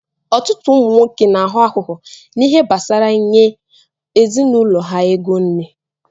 Ọtụtụ ụmụ nwoke n'aghọ aghughọ na ihe gbasara inye ezinụlọ ha ego nri